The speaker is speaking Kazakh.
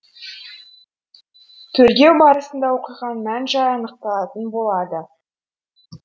тергеу барысында оқиғаның мән жайы анықталатын болады